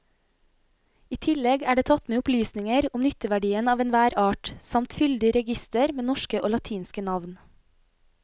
I tillegg er det tatt med opplysninger om nytteverdien av enhver art samt fyldig reigister med norske og latinske navn.